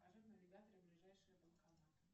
покажи в навигаторе ближайший банкомат